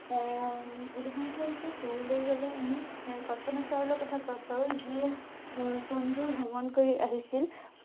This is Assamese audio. এৰ উম উদাহৰণ স্বৰূপে কবলৈ গলে আমি এ কল্পনা চাওলাৰ কথা কব পাৰোঁ যিয়ে এচন্দ্ৰ ভ্ৰমণ কৰি আহিছিল।